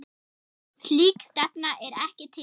Slík stefna er ekki til.